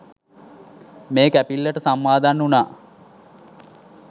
මේ කැපිල්ලට සම්මාදන් වුනා.